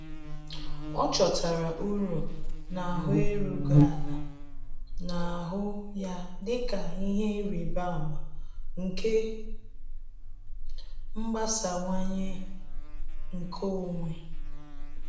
Ọ́ chọ́tárà uru n’áhụ́ érúghị́ álá, nà-àhụ́ ya dịka ihe ịrịba ama nke mgbasawanye nke onwe.